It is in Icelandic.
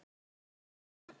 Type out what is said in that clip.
Hvernig ertu í dag?